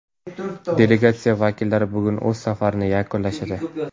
Delegatsiya vakillari bugun o‘z safarlarini yakunlashadi.